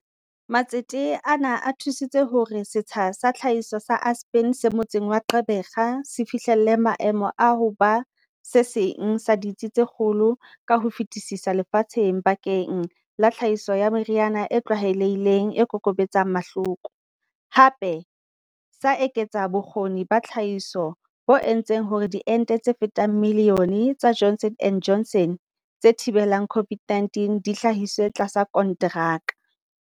Matsete ana a thu sitse hore setsha sa tlhahiso sa Aspen se motseng wa Gqeberha se fihlele maemo a ho ba se seng sa ditsi tse kgolo ka ho fetisisa lefatsheng bakeng la tlhahiso ya meriana e tlwaelehileng e kokobetsang mahloko, hape sa eketsa bo kgoni ba tlhahiso bo entseng hore diente tse fetang milione tsa Johnson and Johnson tse thi belang COVID-19 di hlahiswe tlasa kontraka.